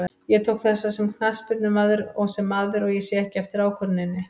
Ég tók þessa sem knattspyrnumaður og sem maður, og ég sé ekki eftir ákvörðuninni.